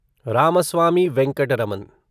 Ramaswamy Venkataraman